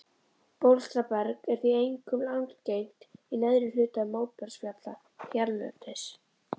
Bólstraberg er því einkum algengt í neðri hluta móbergsfjalla hérlendis.